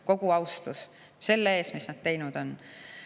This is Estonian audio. Kogu austus kuulub neile selle eest, mis nad on teinud!